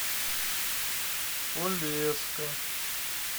полесска